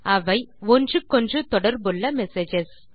அவை ஒன்றுக்கொன்று தொடர்புள்ள மெசேஜஸ்